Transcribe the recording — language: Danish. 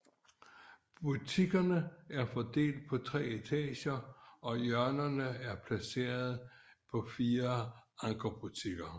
Butikkerne er fordelt på tre etager og i hjørnerne er placeret fire ankerbutikker